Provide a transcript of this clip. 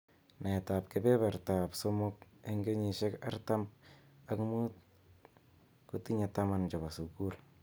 Naet ab kebeberta ab somok eng kenyishek artam ak mut kotinye taman chebo sukul.